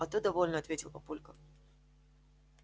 а то довольно ответил папулька